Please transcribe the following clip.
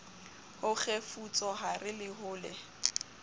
ho kgefutsohare le ho le